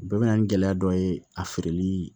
Bɛɛ bɛ na ni gɛlɛya dɔ ye a feereli